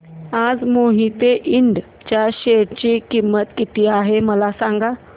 आज मोहिते इंड च्या शेअर ची किंमत किती आहे मला सांगा